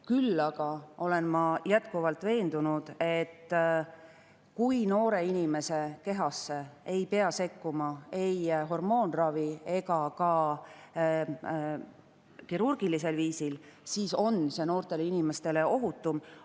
Küll aga olen ma jätkuvalt veendunud, et kui noore inimese kehasse ei pea sekkuma ei hormoonravi abil ega ka kirurgilisel viisil, siis on see noorele inimesele ohutum.